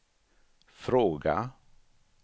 fråga